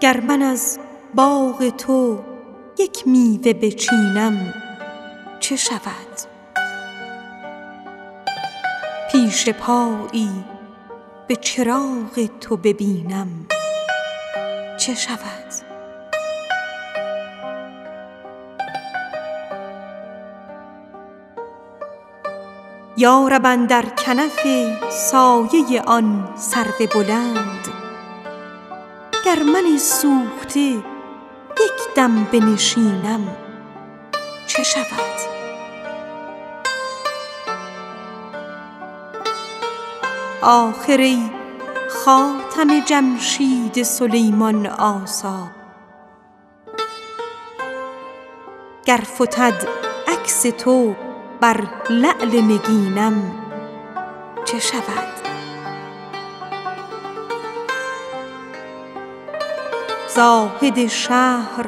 گر من از باغ تو یک میوه بچینم چه شود پیش پایی به چراغ تو ببینم چه شود یا رب اندر کنف سایه آن سرو بلند گر من سوخته یک دم بنشینم چه شود آخر ای خاتم جمشید همایون آثار گر فتد عکس تو بر نقش نگینم چه شود واعظ شهر